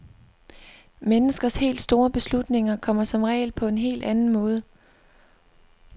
Menneskers helt store beslutninger kommer som regel på en helt anden måde.